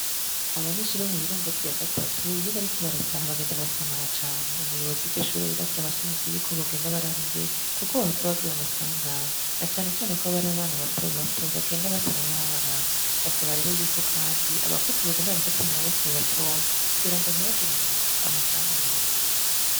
Abanyeshurabo mu birongozi ya gatatu iyo bariko barataha abagenda barasamara cane umuyobozi y’iryo shure rirasa abashimitse yuko bogenda bari aba imbere, kuko bahava bagira amasangany na canecane ko bari abana batobato bagenda batar abaho barabasaba rero yuko, kandi abakuzi bogenda barafata a maboko babatoye kugira ngo ntibagira amasanganyi bagira.